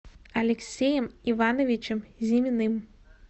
алексеем ивановичем зиминым